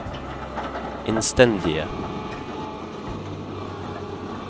innstendige